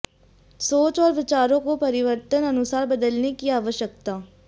सोच और विचारों को परिवर्तन अनुसार बदलने की आवश्यकता